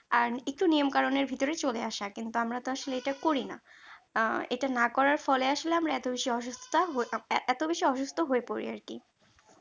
আহ একটু নিয়ম কারণের ভেতরে চলে আসা কিন্তু আমরা তো আসলে এটা করি না। এটা না করার ফলে আসলে আমরা এত বেশি অসুস্থতা হয়ে এত বেশি অসুস্থ হয়ে পড়ে আর কি